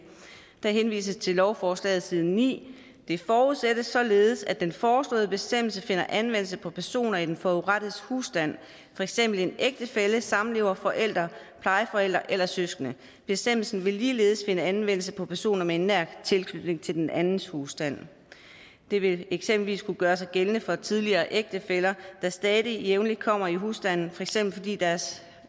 der henvises til lovforslaget side 9 det forudsættes således at den foreslåede bestemmelse finder anvendelse på personer i den forurettedes husstand for eksempel en ægtefælle samlever forælder plejeforælder eller søskende bestemmelsen vil ligeledes finde anvendelse på personer med en nær tilknytning til den andens husstand det vil eksempelvis kunne gøre sig gældende for tidligere ægtefæller der stadig jævnligt kommer i husstanden for eksempel fordi deres